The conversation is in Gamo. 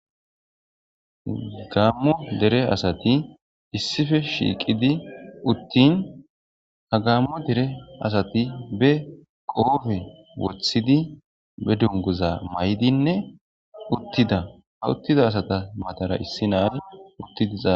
Gammo dere asati issife shiiqidi uttin ha gammo dere asati be qoofe wothidi be dunguza may'dinne uttida ha uttida asata matara issi naani uttidiza.